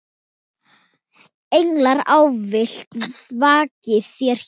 Englar ávallt vaki þér hjá.